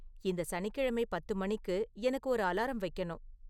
இந்த சனிக்கிழமை பத்து மணிக்கு எனக்கு ஒரு அலாரம் வைக்கணும்